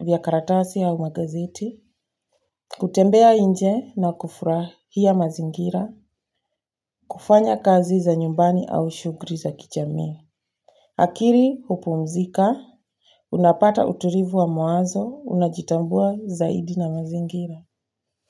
vya karatasi au magazeti. Kutembea nje na kufurahia mazingira. Kufanya kazi za nyumbani au shughuli za kijamii. Akili, hupumzika. Unapata utulivu wa mawazo. Unajitambua zaidi na mazingira.